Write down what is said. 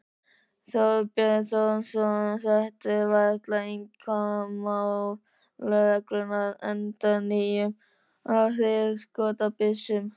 Þorbjörn Þórðarson: Þetta er varla einkamál lögreglunnar, endurnýjun á hríðskotabyssum?